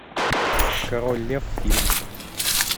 король лев фильм